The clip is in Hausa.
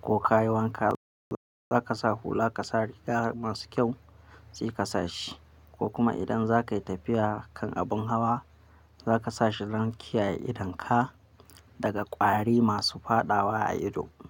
Ko ka yi wanka, za ka sa hula ka sa rigar masu kyau sai ka sa shi. Ko kuma idan za ka yi tafiya kan abin hawa, za ka sa shi don kiyaye idonka daga ƙwari masu fadawa a ido.